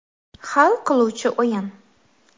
Hal qiluvchi o‘yin.